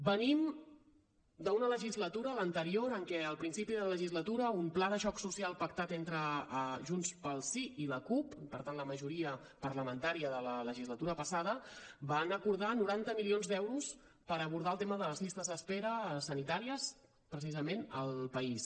venim d’una legislatura l’anterior en què al principi de la legislatura un pla de xoc social pactat entre junts pel sí i la cup per tant la majora parlamentària de la legislatura passada van acordar noranta milions d’euros per abordar el tema de les llistes d’espera sanitàries precisament al país